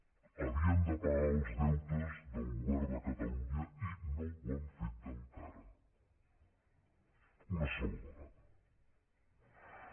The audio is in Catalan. havien de pagar els deutes del govern de catalunya i no ho han fet encara una sola vegada